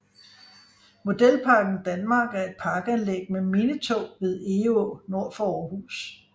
Modelparken Danmark er et parkanlæg med minitog ved Egå nord for Aarhus